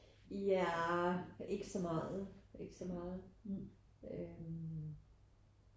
Nja ikke så meget ikke så meget øh